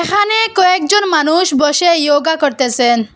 এখানে কয়েকজন মানুষ বসে য়োগা করতেসেন।